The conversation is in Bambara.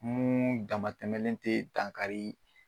Mun damatɛlen tɛ dankari.